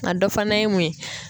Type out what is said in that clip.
A dɔ fana ye mun ye